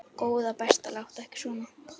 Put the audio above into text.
Góða besta láttu ekki svona!